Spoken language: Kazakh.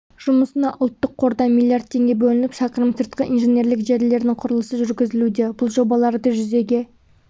жұмысына ұлттық қордан млрд теңге бөлініп шақырым сыртқы инженерлік желілердің құрылысы жүргізілуде бұл жобаларды жүзеге